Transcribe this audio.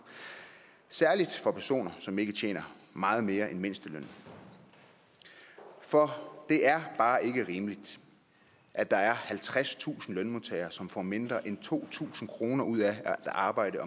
særlig for personer som ikke tjener meget mere end mindstelønnen for det er bare ikke rimeligt at der er halvtredstusind lønmodtagere som får mindre end to tusind kroner ud af at arbejde